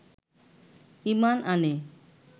ঈমান আনে